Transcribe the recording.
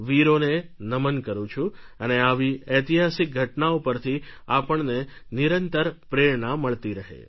વીરોને નમન કરું છું અને આવી ઐતિહાસિક ઘટનાઓ પરથી આપણને નિરંતર પ્રેરણા મળતી રહે